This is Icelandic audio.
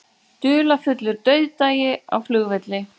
Dularfullur dauðdagi á flugvelli